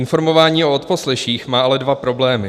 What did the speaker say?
Informování o odposleších má ale dva problémy.